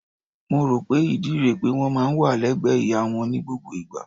Mo rò pé ìdí rẹ̀ pé wọ́n máa ń wà légbẹ̀ẹ́ ìyá wọn ní gbogbo ìgbà.